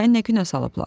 Səni nə günə salıblar?